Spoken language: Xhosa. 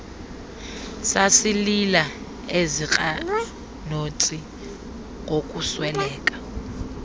sasilila eziirnathontsi ngokusweleka